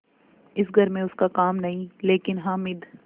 इस घर में उसका काम नहीं लेकिन हामिद